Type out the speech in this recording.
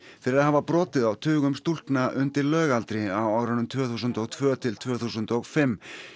fyrir að hafa brotið á tugum stúlkna undir lögaldri á árunum tvö þúsund og tvö til tvö þúsund og fimm